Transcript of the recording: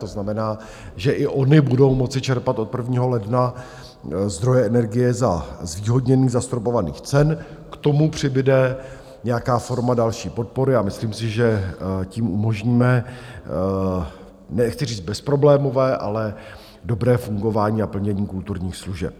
To znamená, že i ony budou moci čerpat od 1. ledna zdroje energie za zvýhodněných zastropovaných cen, k tomu přibude nějaká forma další podpory, a myslím si, že tím umožníme nechci říct bezproblémové, ale dobré fungování a plnění kulturních služeb.